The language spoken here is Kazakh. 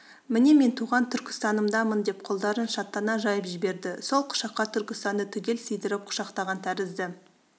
міне мен туған түркістанымдамын деп қолдарын шаттана жайып жіберді сол құшаққа түркістанды түгел сыйдырып құшақтаған тәрізді